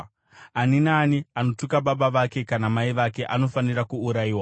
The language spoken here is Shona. “Ani naani anotuka baba vake kana mai vake anofanira kuurayiwa.